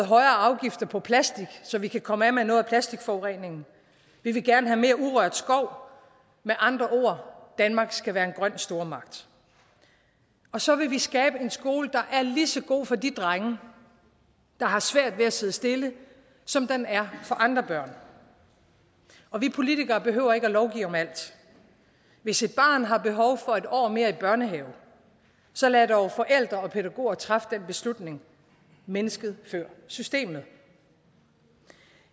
højere afgifter på plastik så vi kan komme af med noget af plastikforureningen vi vil gerne have mere urørt skov med andre ord danmark skal være en grøn stormagt så vil vi skabe en skole der er lige så god for de drenge der har svært ved at sidde stille som den er for andre børn og vi politikere behøver ikke at lovgive om alt hvis et barn har behov for et år mere i børnehave så lad dog forældre og pædagoger træffe den beslutning mennesket før systemet